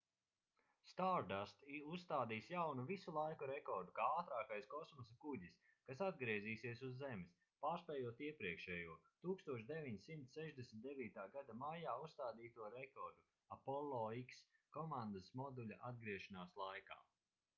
stardust uzstādīs jaunu visu laiku rekordu kā ātrākais kosmosa kuģis kas atgriezīsies uz zemes pārspējot iepriekšējo 1969. gada maijā uzstādīto rekordu apollo x komandas moduļa atgriešanās laikā